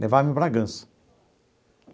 Levava em Bragança.